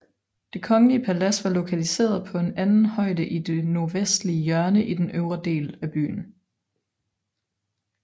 Det kongelige palads var lokalisert på en anden højde i det nordvestlige hjørne i den øvre del af byen